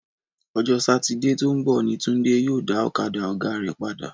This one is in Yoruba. Ọjọ́ Satide tó ń bọ̀ ni Túndé yóò dá ọ̀kadà ọ̀gá rẹ̀ padà